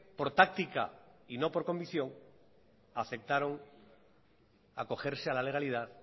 por táctica y no por comisión aceptaron acogerse a la legalidad